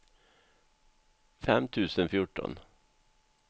fem tusen fjorton